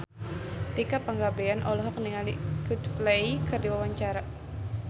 Tika Pangabean olohok ningali Coldplay keur diwawancara